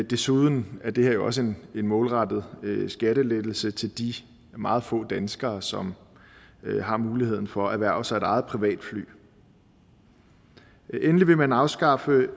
desuden er det her jo også en målrettet skattelettelse til de meget få danskere som har muligheden for at erhverve sig et eget privatfly endelig vil man afskaffe